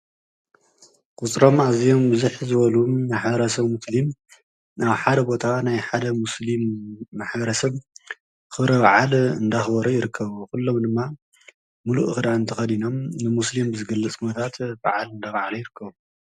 ቁፅሮም ኣዝዮም ብዝሕ ዝበሉ ማሕበረሰብ ሙስሊም ናብ ሓደ ቦታ ናይ ሓደ ሙስሊም ማሕበረሰብ ኽብረ በዓል እንዳኽበሩ ይርከቡ። ኩሎም ድማ ሙሉእ ክዳን ተኸዲኖም ንሙስሊም ዝግለፅ ኩነታት በዓል እንዳብዓሉ ይርከቡ።